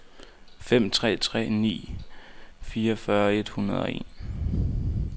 fem tre tre ni fireogfyrre et hundrede og en